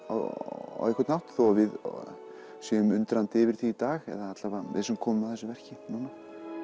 á einhvern hátt þó að við séum undrandi yfir því í dag eða allavega við sem komum að þessu verki núna